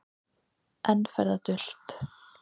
Enn fer það dult